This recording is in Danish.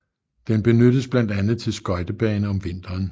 Den benyttes blandt andet til skøjtebane om vinteren